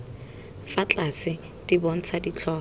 fa tlase di bontsha ditlhogo